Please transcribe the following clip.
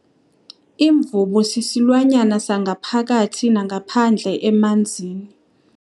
Imvubu sisilwanyana sangaphakathi nangaphandle emanzini.